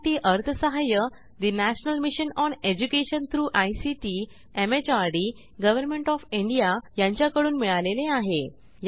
यासाठी अर्थसहाय्य national mission on education through ICT MHRD government of India यांच्याकडून मिळालेले आहे